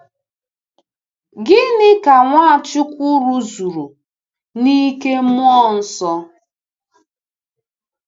Gịnị ka Nwachukwu rụzuru n’ “ike Mmụọ Nsọ”?